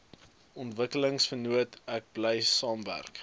ontwikkelingsvennote bly saamwerk